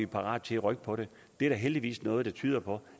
parate til at rykke på det det er der heldigvis noget der tyder på